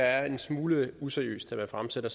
er en smule useriøst at man fremsætter